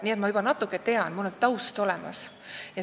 Nii et mina juba natuke tean, mul on taust olemas.